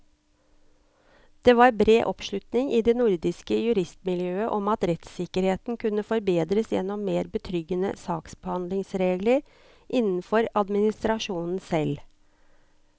Det var bred oppslutning i det nordiske juristmiljøet om at rettssikkerheten kunne forbedres gjennom mer betryggende saksbehandlingsregler innenfor administrasjonen selv.